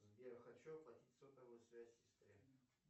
сбер хочу оплатить сотовую связь сестре